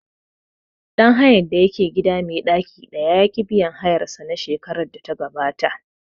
Ɗan hayan da yake gida mai ɗaki ɗaya ya ƙi biyan hayar sa na shekarar da ta gabata